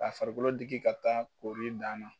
Ka farikolo diki ka taa kori d'a ma.